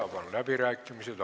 Avan läbirääkimised.